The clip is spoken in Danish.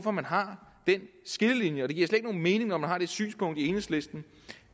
at man har den skillelinje og det giver slet mening når man har det synspunkt i enhedslisten